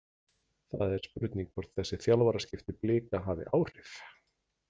Það er spurning hvort þessi þjálfaraskipti Blika hafi áhrif?